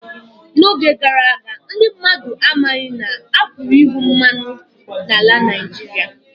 N'oge gara aga, ndị mmadụ amaghị na a pụrụ ịhụ mmanụ ala na Naijiria